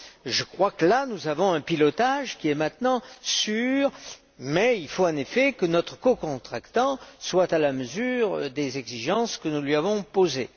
Je crois que nous avons un pilotage qui est maintenant sûr, mais il faut en effet que notre cocontractant soit à la mesure des exigences que nous lui avons posées.